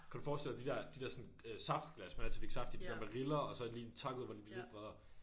Kan du forestille dig de der de der sådan øh saftglas man altid fik saft i de der med riller og så lige takkede hvor de bliver lidt bredere